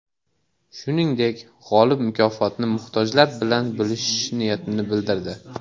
Shuningdek, g‘olib mukofotni muhtojlar bilan bo‘lishish niyatini bildirdi.